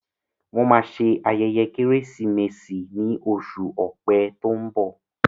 Wọn máa ṣe ayẹyẹ Kérésìmesì ni oṣù ọ̀pẹ tó ń bọ̀